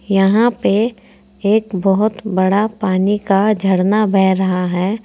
यहां पे एक बहुत बड़ा पानी का झरना बह रहा है।